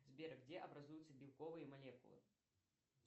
сбер где образуются белковые молекулы